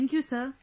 Thank you sir